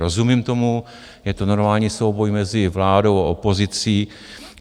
Rozumím tomu, je to normální souboj mezi vládou a opozicí.